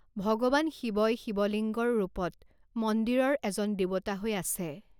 ভগৱান শিৱই শিৱ লিংগৰ ৰূপত মন্দিৰৰ এজন দেৱতা হৈ আছে।